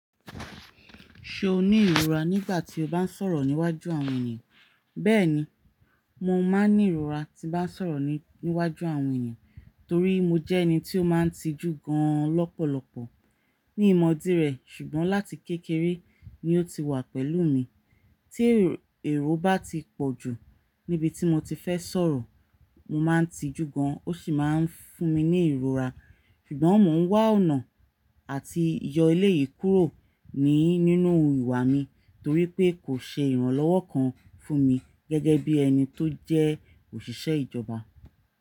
Ṣe o ni ìrora nígbà tí o bá ń sọ̀rọ̀ níwájú àwọn ènìyàn? Bẹ́ẹ̀ni, mo máa ń ní ìrora tí n bá ń sọ̀rọ̀ níwájú àwọn èeyàn torí mo jẹ́ ẹni tí ó máa ń tijú gan lọ́pọ̀lọpọ̀. Mi ì mọ́ dí rẹ̀ ṣùgbọ́n láti kékeré ni ó ti wà pẹ̀lú mi. Tí èrò bá ti pọ̀ jù níbi tí mo ti fẹ́ sọ̀rọ̀, mo máa ń tijú gan, ó sì máa ń fún mi ní ìrora. Ṣùgbọ́n mò ń wá ọ̀nà àti yọ eléyìí kúrò ní nínú ìwà mi torí pé kò ṣe ìrànlọ́wọ́ kan fún mi gẹ́gẹ́ bí ẹni tó jẹ́ òṣìṣẹ́ ìjọba.